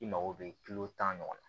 I mago bɛ kilo tan ɲɔgɔn na